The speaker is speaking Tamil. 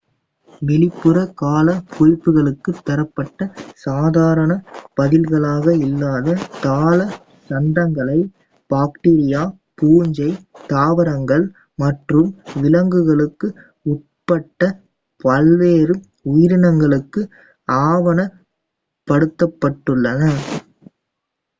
வெளிப்புற கால குறிப்புகளுக்கு தரப்பட்ட சாதாரண பதில்களாக இல்லாத தாள சந்தங்களை பாக்டீரியா பூஞ்சை தாவரங்கள் மற்றும் விலங்குகள் உட்பட பல்வேறு உயிரினங்களுக்கு ஆவணப் படுத்தப்பட்டுள்ளன